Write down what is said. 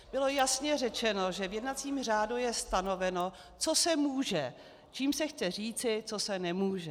Bylo jasně řečeno, že v jednacím řádu je stanoveno, co se může, čímž se chce říci, co se nemůže.